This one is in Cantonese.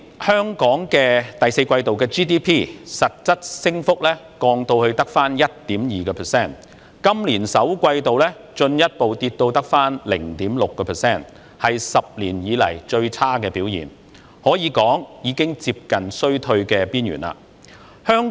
香港去年第四季度 GDP 實質升幅降至 1.2%， 今年首季進一步下跌至只有 0.6%， 是10年來表現最差的一季，可說是已接近衰退的邊緣。